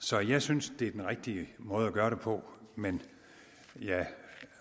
så jeg synes det er den rigtige måde at gøre det på men jeg